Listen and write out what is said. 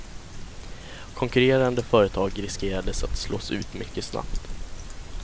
Konkurrerande företag riskerades att slås ut mycket snabbt.